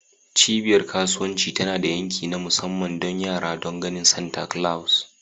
Cibiyar kasuwanci tana da yanki na musamman don yara don ganin Santa Claus.